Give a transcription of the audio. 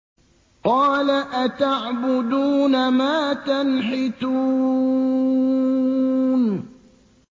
قَالَ أَتَعْبُدُونَ مَا تَنْحِتُونَ